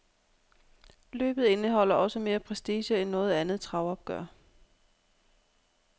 Løbet indeholder også mere prestige end noget andet travopgør.